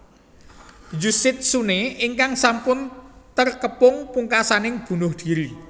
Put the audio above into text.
Yoshitsune ingkang sampun terkepung pungkasaning bunuh diri